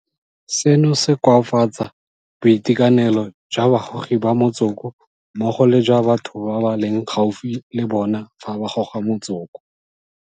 Seno se koafatsa boitekanelo jwa bagogi ba motsoko mmogo le jwa batho ba ba leng gaufi le bona fa ba goga motsoko.